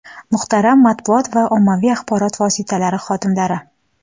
Muhtaram matbuot va ommaviy axborot vositalari xodimlari!